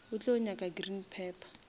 o tlo nyaka green pepper